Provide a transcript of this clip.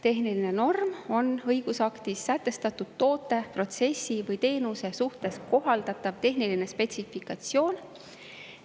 Tehniline norm on õigusaktis sätestatud toote, protsessi või teenuse suhtes kohaldatav tehniline spetsifikatsioon.